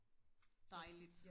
dejligt